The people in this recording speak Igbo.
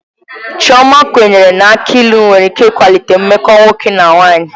Chioma kwenyere na aki ilu nwere ike ịkwalite mmekọ nwoke na nwanyị.